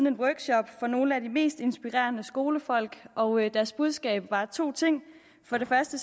en workshop for nogle af de mest inspirerende skolefolk og deres budskab var to ting for det første